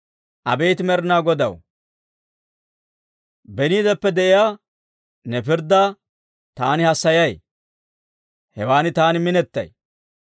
Abeet Med'inaa Godaw, beniideppe de'iyaa ne pirddaa taani hassayay; hewan taani minetay.